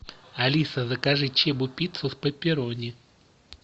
алиса закажи чебупиццу с пепперони